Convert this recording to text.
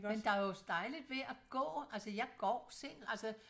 Men der jo også dejligt ved at gå altså jeg går selv altså